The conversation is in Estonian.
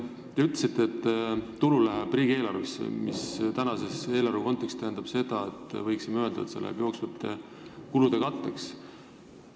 Te ütlesite, et tulu läheb riigieelarvesse, mis tänavuse eelarve kontekstis tähendab seda, et see läheb jooksvate kulude katteks.